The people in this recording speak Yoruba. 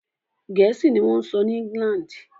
Gẹ̀ẹ́sì ni wọ́n ń sọ ní England.